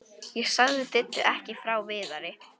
Ég sagði Diddu ekki frá Viðari.